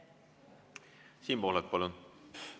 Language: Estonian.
Siim Pohlak, palun!